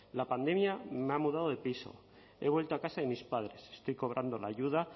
la pandemia me ha mudado de piso he vuelto a casa de mis padres estoy cobrando la ayuda